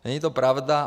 Není to pravda.